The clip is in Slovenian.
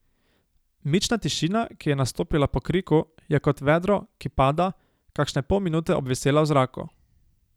Mična tišina, ki je nastopila po kriku, je kot vedro, ki pada, kakšne pol minute obvisela v zraku.